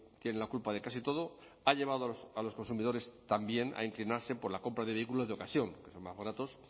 tiene la culpa de casi todo ha llevado a los consumidores también a inclinarse por la compra de vehículos de ocasión porque son más baratos